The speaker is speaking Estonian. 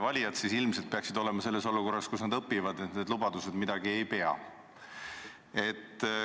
Valijad peaksid ilmselt olema selles olukorras, kus nad õpivad, et need lubadused ei pea.